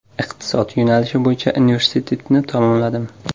Iqtisod yo‘nalishi bo‘yicha universitetni tamomladim.